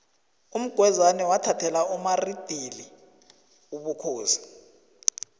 umgwezani wathathela umaridili ubukhosi